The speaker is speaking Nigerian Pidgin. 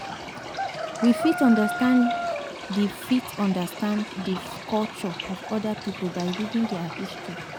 We fit understand di fit understand di culture of oda pipo by reading their history